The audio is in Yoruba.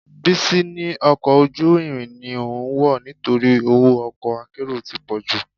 Bísí ní ọkọ̀ ojú irin ni òun wọ̀ nítorí owó ọkọ akérò ti pọ̀jù